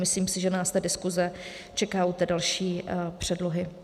Myslím si, že nás ta diskuse čeká u další předlohy.